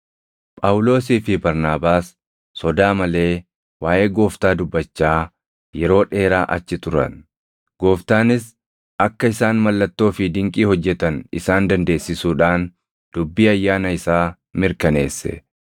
Phaawulosii fi Barnaabaas sodaa malee waaʼee Gooftaa dubbachaa yeroo dheeraa achi turan; Gooftaanis akka isaan mallattoo fi dinqii hojjetan isaan dandeessisuudhaan dubbii ayyaana isaa mirkaneesse.